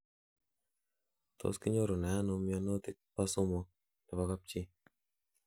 Tos kinyorunee ano mionitok poo somok nepoo kapchi?